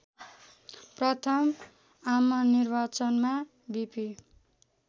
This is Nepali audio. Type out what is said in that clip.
प्रथम आमनिर्वाचनमा बीपी